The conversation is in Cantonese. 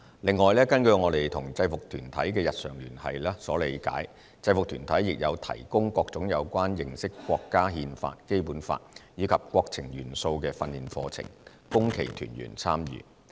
另外，根據我們與制服團體的日常聯繫所理解，制服團體亦有提供各種有關認識國家《憲法》、《基本法》，以及國情元素的訓練課程，供其團員參與。